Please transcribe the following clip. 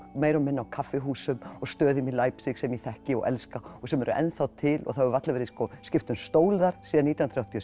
meira og minna á kaffihúsum og stöðum í Leipzig sem ég þekki og elska og sem eru ennþá til og það hefur varla verið skipt um stól þar síðan nítján hundruð áttatíu